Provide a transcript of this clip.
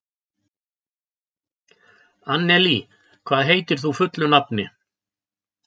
Annelí, hvað heitir þú fullu nafni?